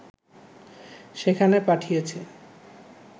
সেখানে পাঠিয়েছে